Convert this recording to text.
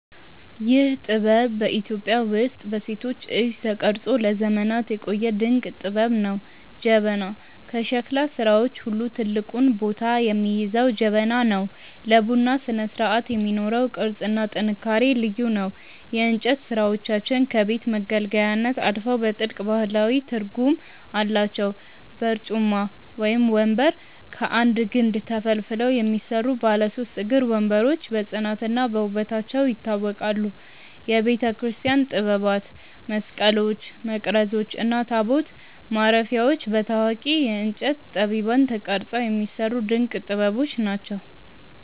ይህ ጥበብ በኢትዮጵያ ውስጥ በሴቶች እጅ ተቀርጾ ለዘመናት የቆየ ድንቅ ጥበብ ነው። ጀበና፦ ከሸክላ ሥራዎች ሁሉ ትልቁን ቦታ የሚይዘው ጀበና ነው። ለቡና ስነስርዓት የሚኖረው ቅርጽና ጥንካሬ ልዩ ነው። የእንጨት ሥራዎቻችን ከቤት መገልገያነት አልፈው ጥልቅ ባህላዊ ትርጉም አላቸው። በርጩማ (ወንበር)፦ ከአንድ ግንድ ተፈልፍለው የሚሰሩ ባለ ሦስት እግር ወንበሮች በጽናትና በውበታቸው ይታወቃሉ። የቤተክርስቲያን ጥበባት፦ መስቀሎች፣ መቅረዞች እና ታቦት ማረፊያዎች በታዋቂ የእንጨት ጠቢባን ተቀርጸው የሚሰሩ ድንቅ ጥበቦች ናቸው።